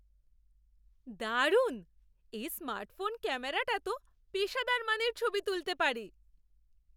দারুণ! এই স্মার্টফোন ক্যামেরাটা তো পেশাদার মানের ছবি তুলতে পারে।